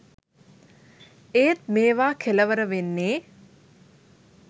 ඒත් මේවා කෙලවර වෙන්නේ